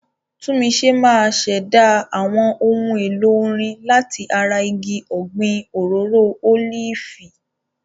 Tunmise máa ṣẹ̀dá àwọn ohun èlò orin láti ara igi ọ̀gbìn òróró ólífì.